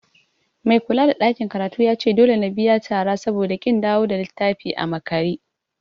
Mai kulada ɗakin karatun yace dole na biya tara saboda ƙin dawo da littafi a makare.